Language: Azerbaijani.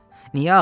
Niyə ağlayır?